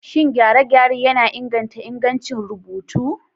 Shin gyare-gyare yana inganta ingancin rubutu?